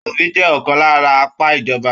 Aṣòfin jẹ ọkan lára apá ìjọba.